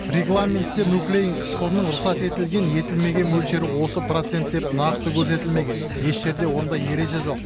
регламентте нуклеин қышқылының рұқсат етілген етілмеген мөлшері осы процент деп нақты көрсетілмеген еш жерде ондай ереже жоқ